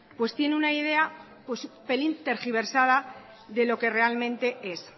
pues tiene una idea pelín tergiversada de lo que realmente es